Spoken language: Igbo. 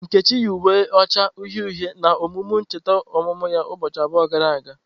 Nkechi yi uwe na-acha uhie uhie na emume ncheta ọmụmụ ya ụbọchị abụọ gara aga.